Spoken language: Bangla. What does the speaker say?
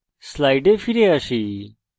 slides ফিরে আসি